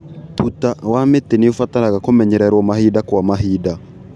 Tuta wa mĩtĩ nĩ ũbataraga kũmenyererwo mahinda kwa mahinda.